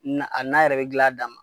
Na a nan yɛrɛ bɛ gil'a dan ma.